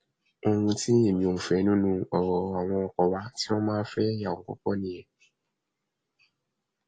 ohun tí èmi ò fẹ nínú ọrọ àwọn ọkọ wa tí wọn máa ń fẹyàwó púpọ nìyẹn